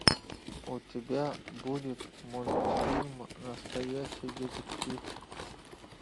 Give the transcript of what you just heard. у тебя будет мультфильм настоящий детектив